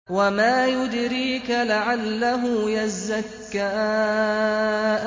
وَمَا يُدْرِيكَ لَعَلَّهُ يَزَّكَّىٰ